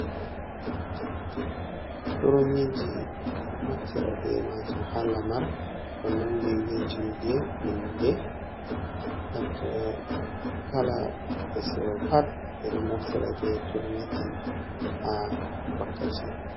Turmiji ɓe ɗo naftira be majuum ha lamar , ko nandi be julde, inde, naftira kala hunde seyo pat, ɓe ɗo naftira be turmiji ha wakkati.